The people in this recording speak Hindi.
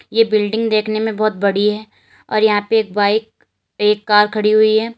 ये बिल्डिंग देखने में बहुत बड़ी है और यहां पे एक बाइक और एक कार खड़ी हुई है।